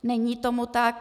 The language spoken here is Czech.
Není tomu tak.